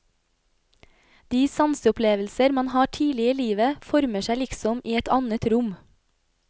De sanseopplevelser man har tidlig i livet, former seg liksom i et annet rom.